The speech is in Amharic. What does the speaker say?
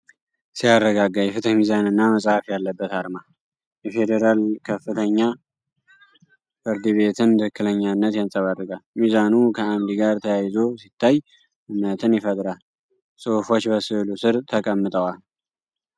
ሲያረጋጋ፣ የፍትህ ሚዛንና መጽሐፍ ያለበት አርማ። የፌዴራል ከፍተኛ ፍርድ ቤትን ትክክለኛነት ያንጸባርቃል። ሚዛኑ ከዓምድ ጋር ተያይዞ ሲታይ እምነትን ይፈጥራል። ጽሑፎች በስዕሉ ስር ተቀምጠዋል።